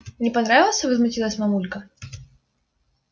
не понравился возмутилась мамулька